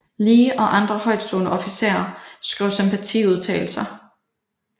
Lee og andre højtstående officerer skrev sympatiudtalalelser